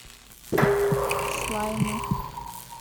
слаймы